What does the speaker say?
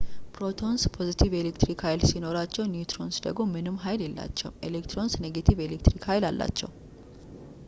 ፕሮቶንስ ፖዘቲቭ የኤሌክትሪክ ሀይል ሲኖራቸው ኒውትሮንስ ደግሞ ምንም ሀይል የላቸውም ኤሌክትሮንስ ኔጌቲቭ የኤሌክትሪክ ሀይል አላቸው